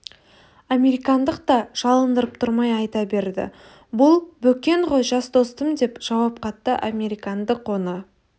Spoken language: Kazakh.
американдық та жалындырып тұрмай айта берді бұл бөкен ғой жас достым деп жауап қатты американдық оны